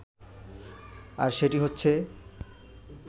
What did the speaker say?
আর সেটি হচ্ছে